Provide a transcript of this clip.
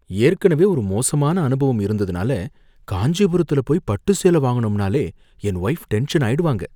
ஏற்கனவே ஒரு மோசமான அனுபவம் இருந்ததுனால காஞ்சிபுரத்துல போயி பட்டு சேலை வாங்கணும்னாலே என் வைஃப் டென்ஷன் ஆயிடுவாங்க.